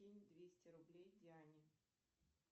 кинь двести рублей диане